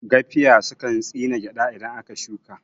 Gafiya sukan tsine gyaɗa idan aka shuka